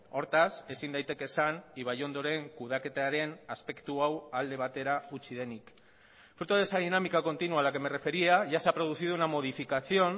hortaz ezin daiteke esan ibaiondoren kudeaketaren aspektu hau alde batera utzi denik fruto de esa dinámica continua a la que me refería ya se ha producido una modificación